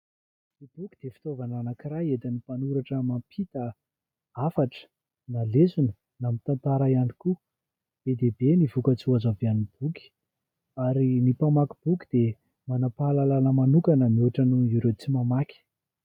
Ny boky dia fitaovana anankiray entin'ny mpanoratra mampita hafatra na lesona na ny tantara ihany koa. Be dia be ny vokatsoa azo avy amin'ny boky ary ny mpamaky boky dia manam-pahalalana manokana mihoatra noho ireo tsy mamaky.